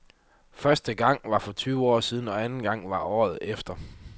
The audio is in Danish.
Første gang var for tyve år siden og anden gang var året efter.